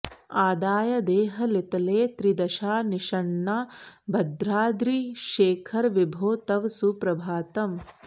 आदाय देहलितले त्रिदशा निषण्णाः भद्राद्रिशेखर विभो तव सुप्रभातम्